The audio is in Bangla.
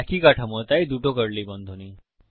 একই কাঠামো তাই দুটো কার্লি বন্ধনী